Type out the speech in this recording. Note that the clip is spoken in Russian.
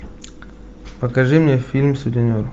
покажи мне фильм сутенер